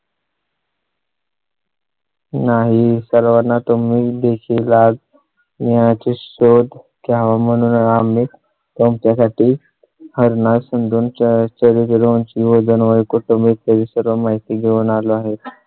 नाही सर्वाना तुम्ही देखील याचा शोध घ्यावा म्हणून आम्ही तुमच्या साठी हरणा सन दोन चर्चेवरून ची वजन वय, कुटुंब इत्यादी सर्व माहिती घेऊन आलो आहे.